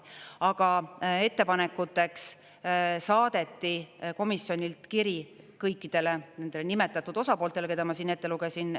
Aga ettepanekuteks saadeti komisjonilt kiri kõikidele nendele nimetatud osapooltele, keda ma siin ette lugesin.